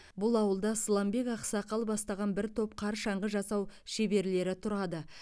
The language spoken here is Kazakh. бұл ауылда сыламбек ақсақал бастаған бір топ қар шаңғы жасау шеберлері тұрады